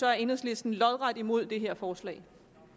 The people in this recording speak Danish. er enhedslisten lodret imod det her forslag